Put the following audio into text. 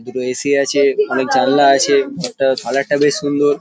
দুটো এ.সি আছে অনেক জানালা আছে ঘরটা কালার -টা বেশ সুন্দর ।